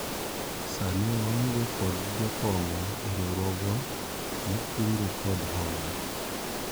sani waonge kod jokong'o e riwruogwa mar kungo kod hola